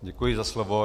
Děkuji za slovo.